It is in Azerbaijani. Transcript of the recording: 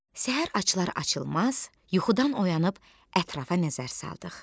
Səhər açılar-açılmaz yuxudan oyanıb ətrafa nəzər saldıq.